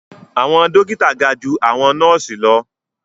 Awọn dókítà ga jù awọn nọọsi lọ